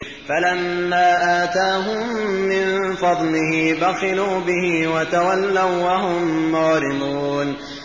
فَلَمَّا آتَاهُم مِّن فَضْلِهِ بَخِلُوا بِهِ وَتَوَلَّوا وَّهُم مُّعْرِضُونَ